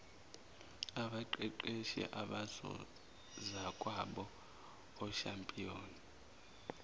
abaqeqeshi abangozakwabo oshampiyoni